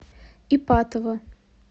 ипатово